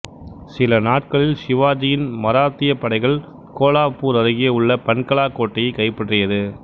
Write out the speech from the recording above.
சில நாட்களில் சிவாஜியின் மராத்தியப் படைகள் கோலாப்பூர் அருகே உள்ள பன்கலா கோட்டையை கைப்பற்றியது